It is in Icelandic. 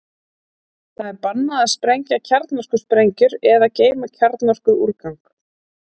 Þar er bannað að sprengja kjarnorkusprengjur eða geyma kjarnorkuúrgang.